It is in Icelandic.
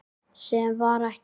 Sem var ekki.